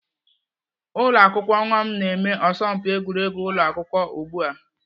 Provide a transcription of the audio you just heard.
Ụlọakwụkwọ nwa m na-eme asọmpi egwuregwu ụlọ akwụkwọ ugbu a.